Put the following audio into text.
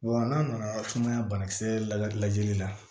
Wa n'a nana sumaya banakisɛ la lajɛli la